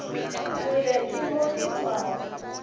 kgole ke mo ke tšwago